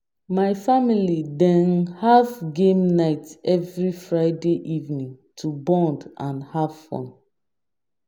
My family dey have game night every Friday evening to bond and have fun.